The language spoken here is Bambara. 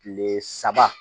Kile saba